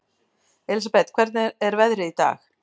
Elsabet, hvernig er veðrið í dag?